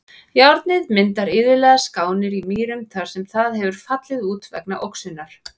Járnið myndar iðulega skánir í mýrum þar sem það hefur fallið út vegna oxunar.